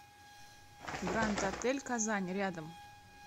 гранд отель казань рядом